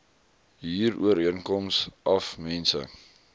huurooreenkoms af mense